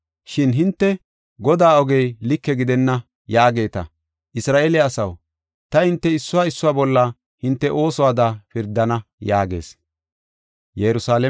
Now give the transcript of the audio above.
Shin hinte, ‘Godaa oge like gidenna’ yaageeta. Isra7eele asaw, ta hinte issuwa issuwa bolla hinte oosuwada pirdana” yaagis.